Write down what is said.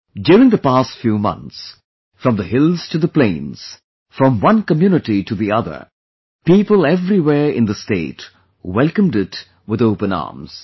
During the past few months, from the hills to the plains, from one community to the other, people everywhere in the state welcomed it with open arms